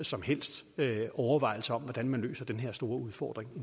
som helst overvejelser om hvordan man løser den her store udfordring